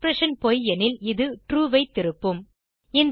expression பொய் எனில் இது ட்ரூ ஐ திருப்பும்